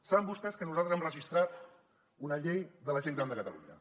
saben vostès que nosaltres hem registrat una llei de la gent gran de catalunya